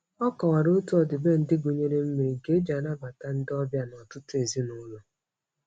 Ọ kọwara otu ọdịbendị gụnyere mmiri, nke e ji anabata ndị ọbịa n'ọtụtụ ezinaụlọ.